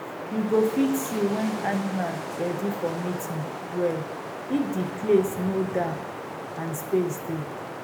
you go fit see when animal ready for mating well if the place no dark and space dey